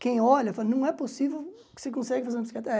Quem olha, fala, não é possível que você consegue fazer uma bicicleta. Eh